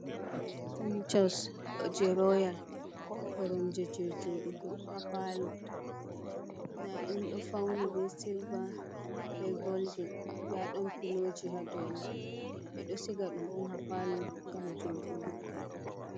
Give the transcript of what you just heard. Fonishos je rooyal, koromje je joɗugo haa paalo, nda ɗum ɗo fauni be silva be golden, nda ɗon piloji haa doo mai, ɓe ɗo siga ɗum on haa paalo ngam jooɗugo.